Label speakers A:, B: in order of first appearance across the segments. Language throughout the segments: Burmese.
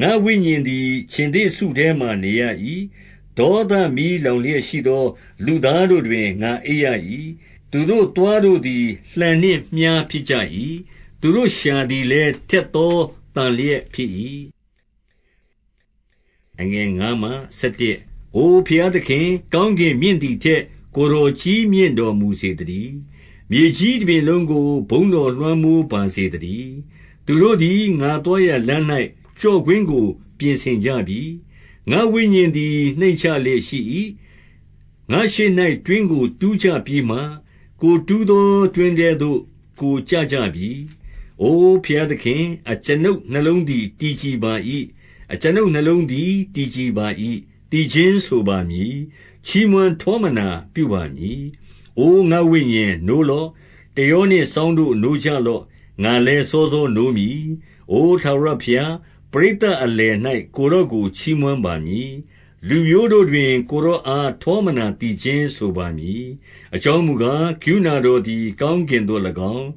A: 4 ငါ့ဝိညာဉ်သည် ခြင်္သေ့စုထဲမှာ နေရ၏။ ဒေါသ မီးလောင်လျက်ရှိသော လူသားတို့တွင် ငါအိပ်ရ၏။ သူတို့ သွားတို့သည် လှံနှင့်မြှားဖြစ်ကြ၏။ သတို့လျှာသည်လည်း ထက်သောသန်လျှက် ဖြစ်၏။ 5 အိုဘုရားသခင်၊ ကောင်းကင်မြင့်သည်ထက် ကိုယ်တော်ကြီးမြင့်တော်မူစေသတည်း။ မြေကြီးတပြင်လုံး ကို ဘုန်းတော်လွှမ်းမိုးပါစေသတည်း။ 6 သူတို့သည် ငါသွားရာလမ်း၌ ကျော့ကွင်းကို ပြင်ဆင်ကြပြီ။ ငါ့ဝိညာဉ်သည် နှိမ့်ချလျက်ရှိ၏။ ငါ့ရှေ့၌ တွင်းကို တူးကြပြီးမှ ကိုယ်တူးသော တွင်းထဲသို့ ကိုယ်ကျ ကြပြီ။ 7 အိုဘုရားသခင်၊ အကျွန်ုပ်နှလုံးသည် တည် ကြည်ပါ၏။ အကျွန်ုပ်နှလုံးသည် တည်ကြပါ၏။ သီချင်း ဆိုပါမည်။ ချီးမွမ်းထောမနာပြုပါမည်။ 8 အိုငါ့ဝိညာဉ်၊ နိုးလော့။ တယောနှင့်စောင့်တို့ နိုးကြလော့။ ငါလည်း စောစောနိုးမည်။ 9 အိုထာဝရဘုရား၊ ပရိသတ်အလယ်၌ ကိုယ် တော်ကို ချီးမွမ်းပါမည်။ လူမျိုးတို့တွင် ကိုယ်တော်အား ထောမနာသီးချင်းဆိုပါမည်။ 10 အကြောင်းမူကား၊ ကရုဏာတော်သည် ကောင်း ကင်သို့၎င်း၊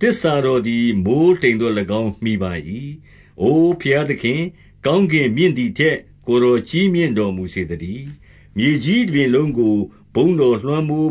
A: သစ္စာတော်သည် မိုဃ်းတိမ်သို့၎င်း မှီပါ၏။ 11 အိုဘုရားသခင်၊ ကောင်းကင်မြင့်သည်ထက် ကိုယ်တော်ကြီးမြင့်တော်မူစေသတည်း။ မြေကြီးတပြင်လုံး ကို ဘုန်းတော်လွှမ်းမို